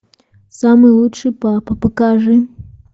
самый лучший папа покажи